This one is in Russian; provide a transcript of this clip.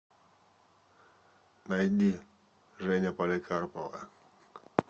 найди женя поликарпова